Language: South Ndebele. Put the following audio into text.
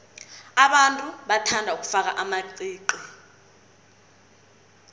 abantu bathanda ukufaka amaqiqi